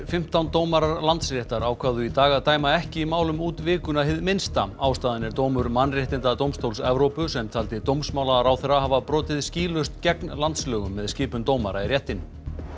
fimmtán dómarar Landsréttar ákváðu í dag að dæma ekki í málum út vikuna hið minnsta ástæðan er dómur Mannréttindadómstóls Evrópu sem taldi dómsmálaráðherra hafa brotið skýlaust gegn landslögum með skipun dómara í réttinn